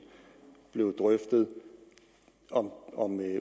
blev drøftet om